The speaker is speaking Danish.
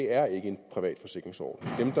er en privat forsikringsordning